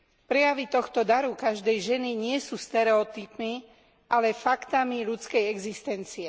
Prejavy tohto daru každej ženy nie sú stereotypmi, ale faktami ľudskej existencie.